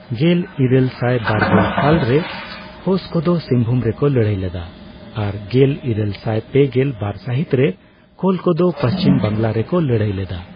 ᱜᱮᱞᱤᱨᱟᱹᱞᱥᱟᱭ ᱵᱟᱨᱜᱮᱞ ᱥᱟᱞ ᱨᱮ ᱦᱳᱥ ᱠᱚᱫᱚ ᱥᱤᱝ ᱵᱷᱩᱢ ᱨᱮᱠᱚ ᱞᱟᱹᱲᱦᱟᱹᱭ ᱞᱮᱫᱟ, ᱟᱨ ᱜᱮᱞᱤᱨᱟᱹᱞᱥᱟᱭ ᱯᱮᱜᱮᱞ ᱵᱟᱨ ᱥᱟᱹᱦᱤᱛ ᱨᱮ ᱠᱳᱞ ᱠᱚᱫᱚ ᱯᱩᱪᱷᱤᱢ ᱵᱟᱝᱞᱟ ᱨᱮᱠᱚ ᱞᱟᱹᱲᱦᱟᱹᱭ ᱞᱮᱫᱟ ᱾